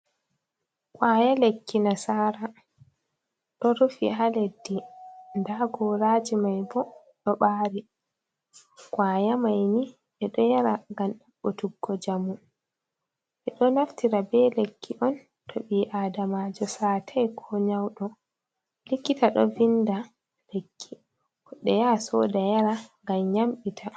Kwaya lekki nasara ɗo rufi ha leddi, nda goraji mai bo ɗo ɓari kwaya mai ni ɓe ɗo yara ngam ɗaɓɓutuggo njamu, ɓe ɗo naftira be lekki on to ɓi adamajo satai, ko nyauɗo. Kikkita ɗo vinda lekki goɗɗo ya soda yara ngam yamɓita.